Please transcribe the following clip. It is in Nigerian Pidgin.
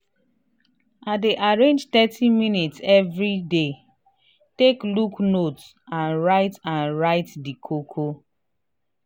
i dey arrange thirty minutes evriday take look notes and write and write di koko